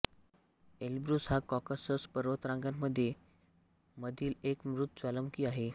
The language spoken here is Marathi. एल्ब्रुस हा कॉकासस पर्वतरांगेमधील मधील एक मृत ज्वालामुखी आहे